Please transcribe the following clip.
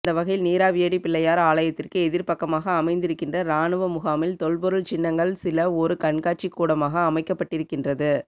அந்தவகையில் நீராவியடிப் பிள்ளையார் ஆலயத்திற்கு எதிர்ப்பக்கமாக அமைந்திருக்கின்ற இராணுவ முகாமில் தொல்பொருள் சின்னங்கள் சில ஒரு கண்காட்சி கூடமாக அமைக்கப்பட்டிருக்கின்றது